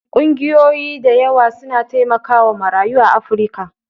Ƙungiyoyi da yawa suna taimakawa marayu a Afrika.